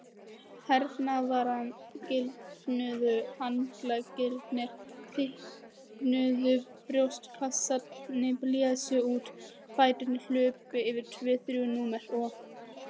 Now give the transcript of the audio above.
Herðarnar gildnuðu, handleggirnir þykknuðu, brjóstkassinn blés út, fæturnir hlupu yfir tvö þrjú númer og.